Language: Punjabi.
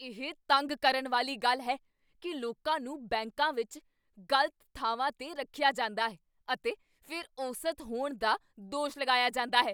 ਇਹ ਤੰਗ ਕਰਨ ਵਾਲੀ ਗੱਲ ਹੈ ਕੀ ਲੋਕਾਂ ਨੂੰ ਬੈਂਕਾਂ ਵਿੱਚ ਗ਼ਲਤ ਥਾਵਾਂ 'ਤੇ ਰੱਖਿਆ ਜਾਂਦਾ ਹੈ, ਅਤੇ ਫਿਰ ਔਸਤ ਹੋਣ ਦਾ ਦੋਸ਼ ਲਗਾਇਆ ਜਾਂਦਾ ਹੈ।